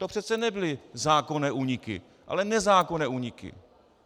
To přece nebyly zákonné úniky, ale nezákonné úniky.